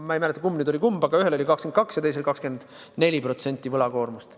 Ma ei mäleta, kummal oli kumb, aga ühel oli võlakoormus 22% ja teisel 24%.